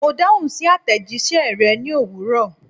Mo dahun si atejise re ni owuro